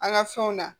An ka fɛnw na